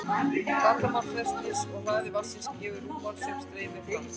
Flatarmál þversniðsins og hraði vatnsins gefur rúmmál sem streymir fram.